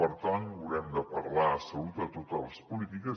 per tant haurem de parlar de salut a totes les polítiques